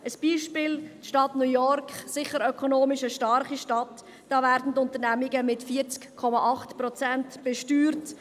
Ein Beispiel: In der Stadt New York, ökonomisch sicher eine starke Stadt, werden die Unternehmungen mit 40,8 Prozent besteuert.